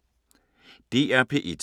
DR P1